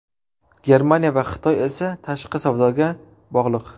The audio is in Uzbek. Germaniya va Xitoy esa tashqi savdoga bog‘liq.